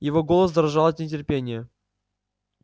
его голос дрожал от нетерпения